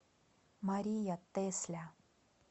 мария тесля